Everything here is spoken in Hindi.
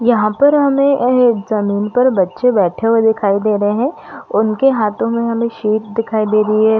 यहाँ पर हमे एहे ज़मींन पर बच्चे बैठे हुए दिखाई दे रहे है और उनके हाथों में हमें सेब दिखाई दे रही है।